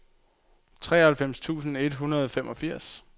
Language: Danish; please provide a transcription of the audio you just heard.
treoghalvfems tusind et hundrede og femogfirs